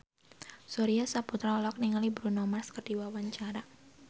Surya Saputra olohok ningali Bruno Mars keur diwawancara